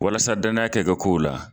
Walasa dannaya kɛ kow la